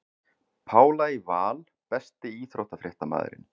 Pála í Val Besti íþróttafréttamaðurinn?